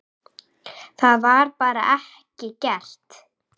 Það var bara ekki gert.